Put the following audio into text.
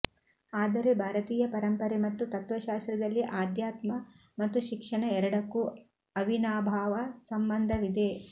ಆದರೆ ಭಾರತೀಯ ಪರಂಪರೆ ಮತ್ತು ತತ್ವಶಾಸ್ತ್ರದಲ್ಲಿ ಆಧ್ಯಾತ್ಮ ಮತ್ತು ಶಿಕ್ಷಣ ಎರಡಕ್ಕೂ ಅವಿನಾಭಾವ ಸಂಬಂಧವಿದೆ